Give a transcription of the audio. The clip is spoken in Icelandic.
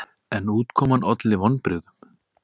En útkoman olli vonbrigðum.